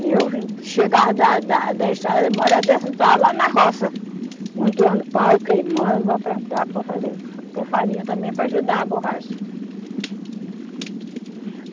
E eu chegava da, da, da estrada, uma hora dessas eu estava lá na roça, montoando pau, queimando para plantar, para fazer, ter farinha também para ajudar a borracha.